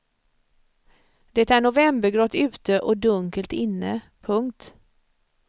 Det är novembergrått ute och dunkelt inne. punkt